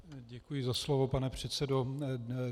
Děkuji za slovo, pane předsedo.